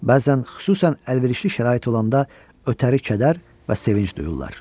Bəzən, xüsusən əlverişli şərait olanda ötəri kədər və sevinc duyurlar.